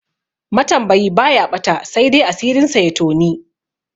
Matambayi baya ɓata, saidai asirinsa ya toni.